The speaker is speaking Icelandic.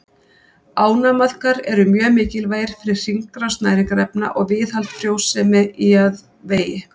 Ánamaðkar eru mjög mikilvægir fyrir hringrás næringarefna og viðhald frjósemi í jarðvegi.